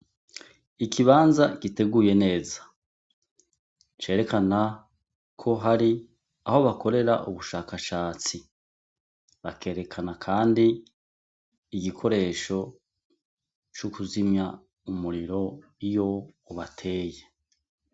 Ikibanza giteguye neza cerekana ko hari aho bakorera ubushakashatsi bakerekana, kandi igikoresho c'ukuzimya umuriro iyo ubateye.